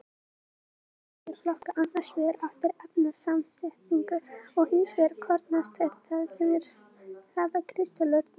Storkuberg er flokkað annars vegar eftir efnasamsetningu og hins vegar kornastærð, það er hraða kristöllunar.